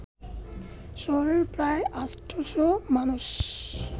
শহরের প্রায় ৮শ’ মানুষ